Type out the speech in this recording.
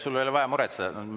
Sul ei ole vaja muretseda.